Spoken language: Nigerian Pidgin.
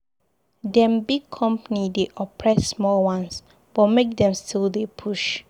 Dem big company dey oppress small ones, but make dem still dey push.